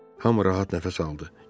Hamı rahat nəfəs aldı.